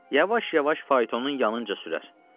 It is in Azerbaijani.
Yavaş-yavaş faytonun yanınca sürər.